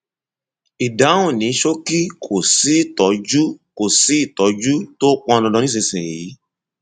ìdáhùn ní ṣókí kò sí ìtọjú tó sí ìtọjú tó pọn dandan nísinsìnyí